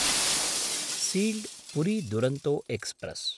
sealed Puri Duronto express